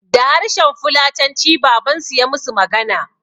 Da harshen fulatanci babansu ya musu magana